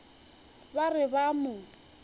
ba re ba a mo